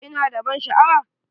Ina da ban sha'awa?